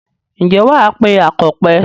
Ǹjẹ́ wà á pe akọ̀pẹ.